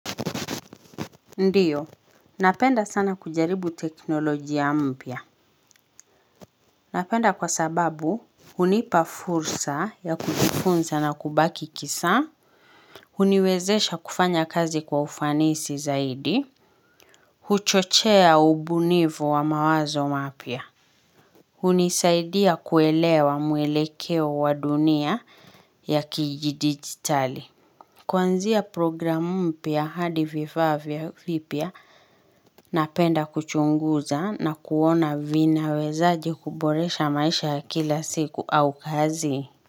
Ndiyo, napenda sana kujaribu teknolojia mpya. Napenda kwa sababu, hunipa fursa ya kujifunza na kubaki kisa. Uniwezesha kufanya kazi kwa ufanisi zaidi. Huchochea ubunifu wa mawazo mapya. Hunisaidia kuelewa mwelekeo wa dunia ya kidijitali. Kwanzia programu mpia hadi vifaa vipya napenda kuchunguza na kuona vinawezaje kuboresha maisha ya kila siku au kazi.